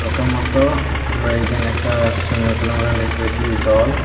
তো মত আমরা এইখানে একটা সুইমিং পুল এর মতন দেখতে পাইতেসি জল --